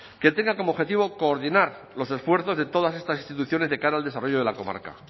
que tengan como objetivo coordinar los esfuerzos de todas estas instituciones de cara al desarrollo de la comarca